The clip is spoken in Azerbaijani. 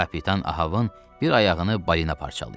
Kapitan Ahavın bir ayağını balina parçalayıb.